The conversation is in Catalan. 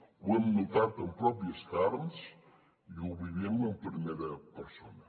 ho hem notat en pròpies carns i ho vivim en primera persona